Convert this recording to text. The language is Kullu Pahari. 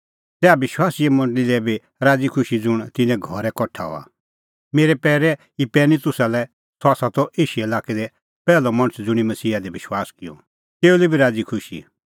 तैहा विश्वासीए मंडल़ी लै बी राज़ीखुशी ज़ुंण तिन्नें घरै कठा हआ मेरै पैरै इपैनितुसा लै सह त एशिया लाक्कै दी पैहलअ मणछ ज़ुंणी मसीहा दी विश्वास किअ तेऊ लै बी राज़ीखुशी